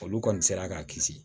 Olu kɔni sera k'a kisi